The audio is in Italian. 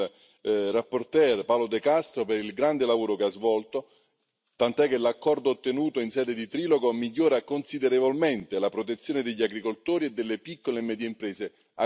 relatore Paolo De Castro per il grande lavoro che ha svolto, tant'è che l'accordo ottenuto in sede di trilogo migliora considerevolmente la protezione degli agricoltori e delle piccole e medie imprese agroalimentari.